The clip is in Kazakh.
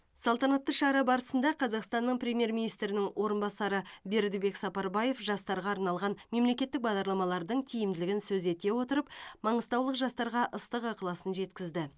салтанатты шара барысында қазақстанның премьер министрінің орынбасары бердібек сапарбаев жастарға арналған мемлекеттік бағдарламалардың тиімділігін сөз ете отырып маңғыстаулық жастарға ыстық ықыласын жеткізді